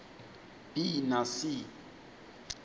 b na c